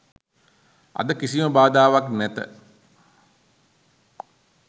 අද කිසිම බාධාවක් නැත